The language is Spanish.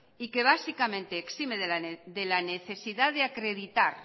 y que básicamente exime de la necesidad de acreditar